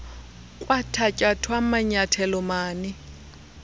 kwathatyathwa manyathelo mani